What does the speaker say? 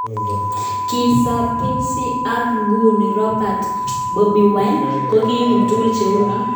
Kizza Besigye ak nguni Robert Kyagulanyi (Bobi Wine) kokibun tuguk che u chu.